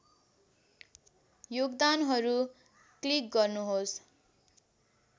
योगदानहरू क्लिक गर्नुहोस्